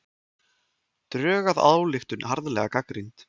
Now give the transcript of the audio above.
Drög að ályktun harðlega gagnrýnd